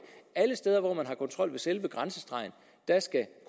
alle steder hvor man har kontrol ved selve grænsestregen skal